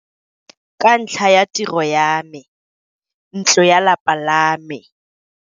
Ka ntlha ya tiro ya me, ntlo ya lapa la me.